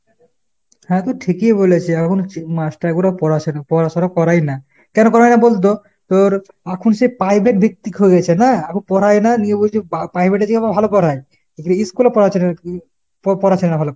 হ্যাঁ তুই ঠিকই বলেছে। আখন master গুলো পড়াশনা~ পড়াশুনা করায় না। কেন করায় না বলতো ? তোর আখন সে পাইভেট ভিত্তিক হয়ে গেছে না। আখন পড়ায় না নিয়ে বলছে পাইভেট এ যেয়ে আবার ভালো পড়ায়। ইস্কুলে পড়াচ্ছে না পড়াচ্ছে না ভালো করে।